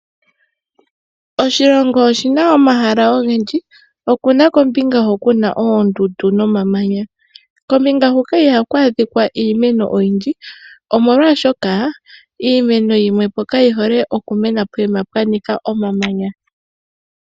Oshilongo oshina omahala ogendji , okuna kombinga ho kuna oondundu nomamanya kombinga hoka ihaku adhika iimeno oyindji omolwashoka iimeno yimwepo kayihole oku mena pokuma pwanika omamanya.